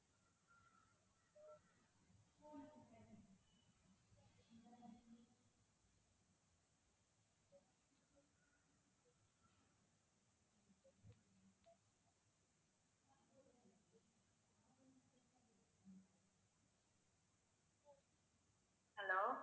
hello